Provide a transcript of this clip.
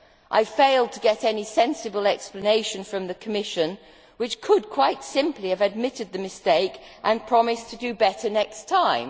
I failed to get any sensible explanation from the Commission, which could quite simply have admitted the mistake and promised to do better next time.